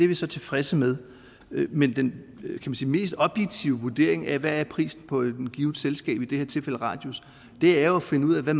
vi så tilfredse med men den mest objektive vurdering af hvad prisen på et givet selskab i det her tilfælde radius er jo at finde ud af hvad